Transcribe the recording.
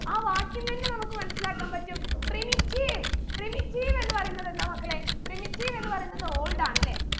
ആ വാക്കിന്നന്നെ നമുക്ക് മനസ്സിലാക്കാൻ പറ്റും primitiveprimitive എന്ന് പറയുന്നത് എന്താ മക്കളെ primitive എന്ന് പറയുന്നത് old ആണ് ല്ലേ